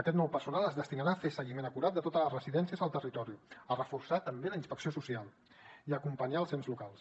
aquest nou personal es destinarà a fer seguiment acurat de totes les residències al territori a reforçar també la inspecció social i a acompanyar els ens locals